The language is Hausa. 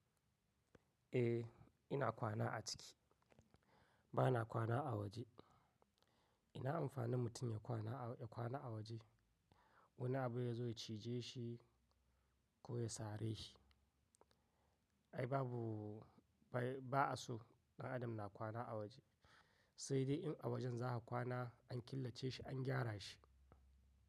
Eh ina kwana a ciki, ba na kwana a waje. Ina amfani mutum ya kwana a waje wani abu ya zo ya cije shi ko ya sare shi. Ai babu, ba a so ɗan adam na kwana a waje, sai dai in a wajen za ka kwana an killace shi an gyara shi.